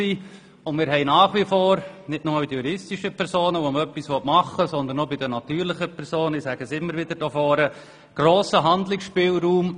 Weiter haben wir nicht nur bei den juristischen, sondern auch bei den natürlichen Personen einen grossen Handlungsbedarf.